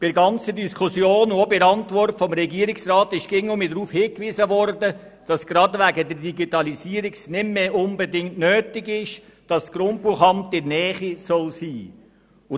In der Diskussion und auch in der Antwort des Regierungsrats ist immer wieder darauf hingewiesen worden, dass es gerade wegen der Digitalisierung nicht mehr unbedingt nötig sei, das Grundbuchamt in der Nähe zu haben.